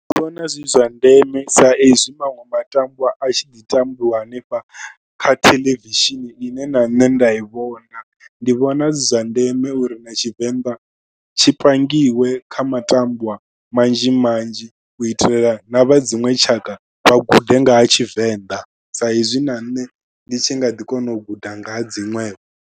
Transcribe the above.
Ndi vhona zwi zwa ndeme sa ezwi maṅwe matambwa a tshi ḓi tambiwa hanefha kha theḽevishini ine na nṋe nda i vhona. Ndi vhona zwi zwa ndeme uri na Tshivenḓa tshi pangiwe kha matambwa manzhi manzhi u itela na vha dziṅwe tshaka vha gude nga ha Tshivenḓa saizwi na nṋe ndi tshi nga ḓi kona u guda nga ha dziṅwe.